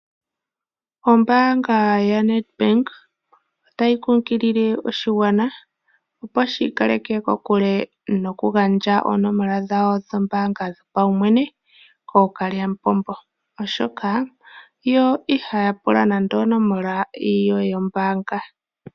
Ombaanga yaNedbank otayi kunkilile oshigwana, opo shiika leke kokule noku gandja oonomola dhawo dhombaanga dho pawumwene kooka lyamupombo oshoka yo ihaya pula nande onomola yoye yombaanga.